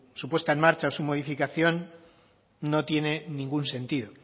su puesta en marcha su modificación no tiene ningún sentido